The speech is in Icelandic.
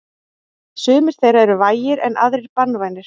Sumir þeirra eru vægir en aðrir banvænir.